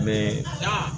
Be